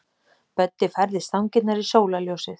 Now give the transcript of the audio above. Böddi færði stangirnar í sólarljósið.